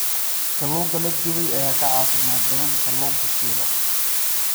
Kalluunka la dubay ayaa ka caafimaad badan kalluunka shiilan.